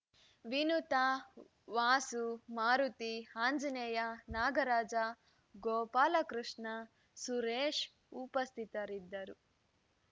ವಿನುತಾ ವಾಸು ಮಾರುತಿ ಆಂಜನೇಯ ನಾಗರಾಜ ಗೋಪಾಲಕೃಷ್ಣ ಸುರೇಶ ಉಪಸ್ಥಿತರಿದ್ದರು